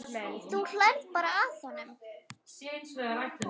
Þú hlærð bara að honum.